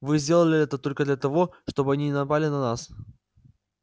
вы сделали это только для того чтобы они не напали на нас